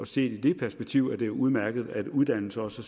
set i det perspektiv er det udmærket at uddannelse også